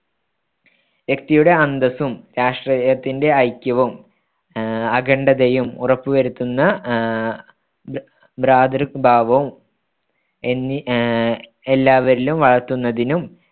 വ്യക്തിയുടെ അന്തസ്സും രാഷ്ട്രത്തിന്റെ ഐക്യവും അഖണ്ഡതയും ഉറപ്പുവരുത്തുന്ന ആഹ് ഭ്രാതൃഭാവം എന്നീ ആഹ് എല്ലാവരിലും വളർത്തുന്നതിനും